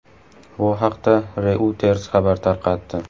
Bu haqda Reuters xabar tarqatdi.